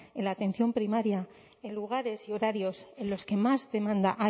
en la atención primaria en lugares y horarios en los que más demanda hay